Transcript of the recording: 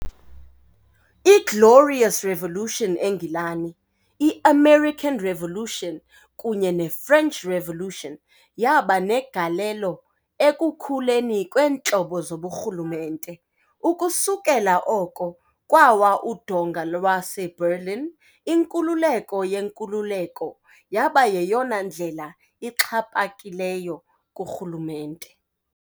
I- Glorious Revolution eNgilani, i- American Revolution kunye ne- French Revolution yaba negalelo ekukhuleni kweentlobo zoburhulumente. Ukusukela oko kwawa udonga lwaseBerlin, inkululeko yenkululeko yaba yeyona ndlela ixhaphakileyo kurhulumente.